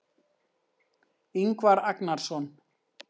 Ingvar Agnarsson.